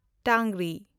ᱴᱟᱝᱜᱨᱤ